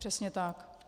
Přesně tak.